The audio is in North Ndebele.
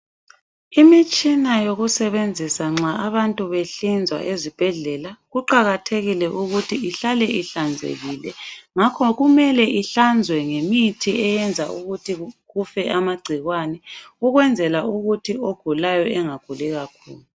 Imitshina yokusebenzisa nxa abantu behlinzwa ezibhedlela, kuqakathekile ukuthi ihlale ihlanzekile ngakho kumele ihlanzwe ngemithi eyenza ukuthi kufe amagcikwane ukwenzela ukuthi ogulayo engaguli kakhulu.